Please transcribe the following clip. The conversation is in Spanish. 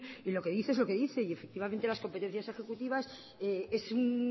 y lo que dice es lo que dice y efectivamente las competencias ejecutivas es un